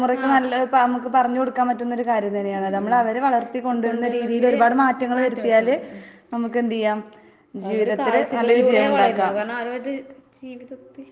ആഹ്